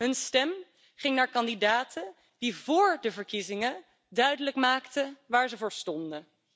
Hun stem ging naar kandidaten die vóór de verkiezingen duidelijk maakten waar ze voor stonden.